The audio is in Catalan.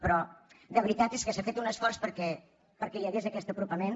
però de veritat és que s’ha fet un esforç perquè hi hagués aquest apropament